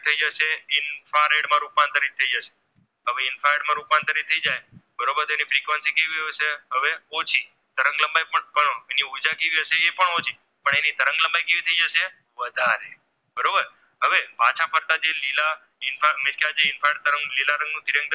તેની Frequency કેવી હોય છે હવે ઓછી તરંગ લંબાઈ પણ તેની ઉર્જા કેવી હશે એ પણ ઓછી પણ એની તરંગ લંબાઈ કેવી થાય જશે વધારે બરોબર હવે પાંચ પડતા જે લીલા એ લીલા રંગનું તિરંગ